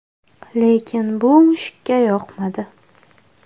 Lekin bu mushukka yoqmadi.